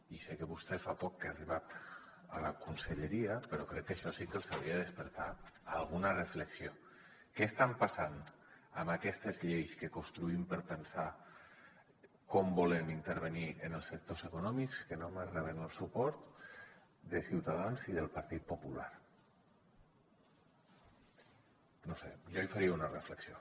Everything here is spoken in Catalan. i sé que vostè fa poc que ha arribat a la conselleria però crec que això sí que els hauria de despertar alguna reflexió què està passant amb aquestes lleis que construïm per pensar com volem intervenir en els sectors econòmics que només reben el suport de ciutadans i del partit popular no ho sé jo hi faria una reflexió